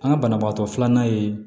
An ka banabagatɔ filanan ye